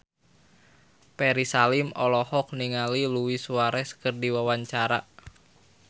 Ferry Salim olohok ningali Luis Suarez keur diwawancara